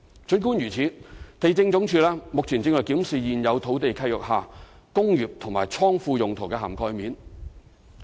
儘管如此，地政總署目前正檢視在現有土地契約下"工業"及"倉庫"用途的涵蓋面。